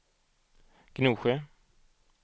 Gnosjö